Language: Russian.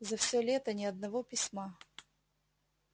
за все лето ни одного письма